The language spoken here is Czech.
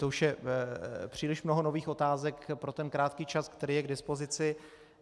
To už je příliš mnoho nových otázek pro ten krátký čas, který je k dispozici.